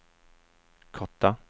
korta